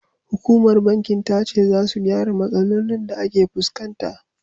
Hukumar bankin ta ce, za su gyara matsalolin da ake fuskanta.